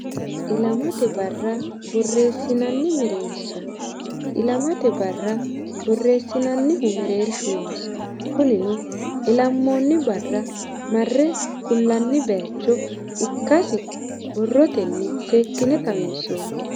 ilamate barra borreessinanni mereersha ilamate barra borreessinannihu mereershu noosi kunino ilammoonni barra marre kullanni baaycho ikkasi borrotenni seekkine xawinsoonni